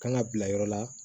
Kan ka bila yɔrɔ la